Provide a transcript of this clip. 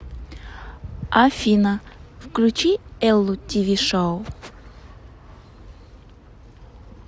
афина включи эллу ти ви шоу